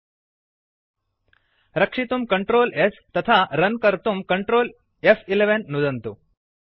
println in parenthesis result रक्षितुं Ctrl s तथा run कर्तुं Ctrl फ्11 नुदन्तु